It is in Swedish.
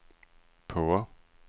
på